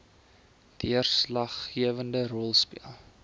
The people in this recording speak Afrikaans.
deurslaggewende rol speel